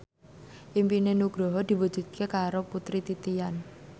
impine Nugroho diwujudke karo Putri Titian